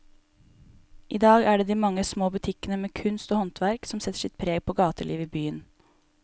I dag er det de mange små butikkene med kunst og håndverk som setter sitt preg på gatelivet i byen.